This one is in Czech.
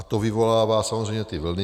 A to vyvolává samozřejmě ty vlny.